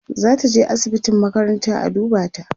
zataje asibitin makaranta a duba ta